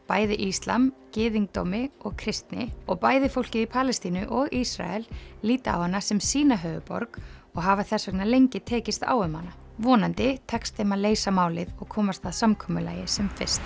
bæði íslam gyðingdómi og kristni og bæði fólkið í Palestínu og Ísrael líta á hana sem sína höfuðborg og hafa þess vegna lengi tekist á um hana vonandi tekst þeim að leysa málið og komast að samkomulagi sem fyrst